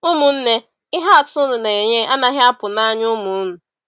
Ụmụnne, ihe atụ unu na-enye anaghị apụ n’anya ụmụ unu.